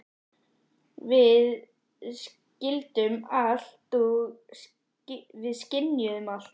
Við skildum allt og við skynjuðum allt.